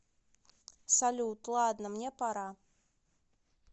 салют ладно мне пора